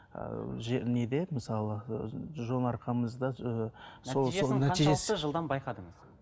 ыыы неде мысалы ы жон арқамызда нәтижесін қаншалықты жылдам байқадыңыз